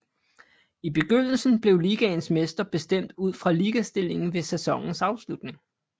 I begyndelse blev ligaens mester bestemt ud fra ligastillingen ved sæsonens afslutning